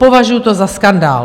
Považuji to za skandál!